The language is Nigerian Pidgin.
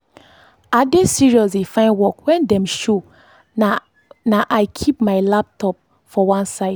i dey serious dey find work when dem show na i keep my laptop for one side